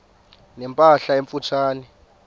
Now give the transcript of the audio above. ne mpahla emfutshane